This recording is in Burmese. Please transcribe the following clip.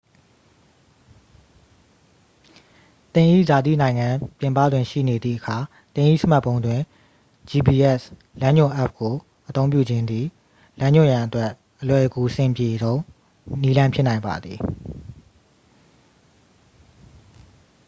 သင်၏ဇာတိနိုင်ငံပြင်ပတွင်ရှိနေသည့်အခါ သင်၏စမတ်ဖုန်းတွင် gps လမ်းညွှန်အက်ပ်ကိုအသုံးပြုခြင်းသည် လမ်းညွှန်ရန်အတွက် အလွယ်ကူအဆင်ပြေဆုံးနည်းလမ်းဖြစ်နိုင်ပါသည်